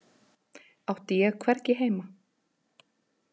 Átti ég hvergi heima?